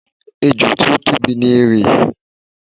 Ejò tí ó tóbi ni erè.